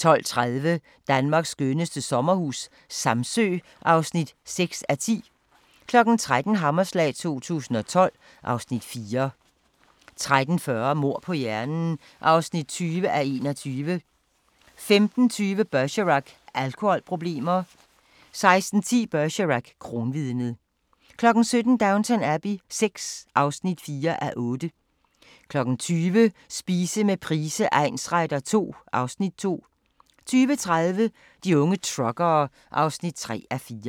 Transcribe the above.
12:30: Danmarks skønneste sommerhus - Samsø (6:10) 13:00: Hammerslag 2012 (Afs. 4) 13:40: Mord på hjernen (20:21) 15:20: Bergerac: Alkoholproblemer 16:10: Bergerac: Kronvidnet 17:00: Downton Abbey VI (4:8) 20:00: Spise med Price egnsretter II (Afs. 2) 20:30: De unge truckere (3:4)